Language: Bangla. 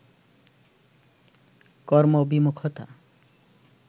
কর্ম বিমূখতা